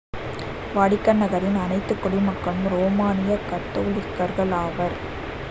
Vatican நகரின் அனைத்து குடிமக்களும் ரோமானிய கத்தோலிக்கர்கள் ஆவர்